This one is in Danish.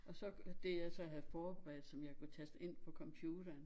Og så det jeg så havde forberedt som jeg så kunne taste ind på computeren